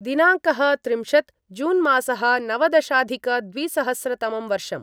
दिनाङ्कः त्रिंशत् जून्मासः नवदशाधिकद्विसहस्रतमं वर्षम्